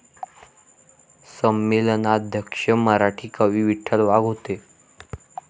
संमेलनाध्यक्ष मराठी कवी विठ्ठल वाघ होते